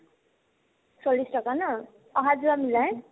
চল্লিশ টকা ন অহা-যোৱা মিলাই